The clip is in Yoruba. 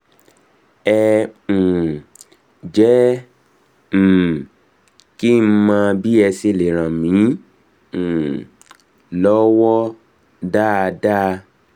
ẹ um jẹ́ um kí n mọ̀ bí ẹ ṣe lè ràn mí um lọ́wọ́ dáadáa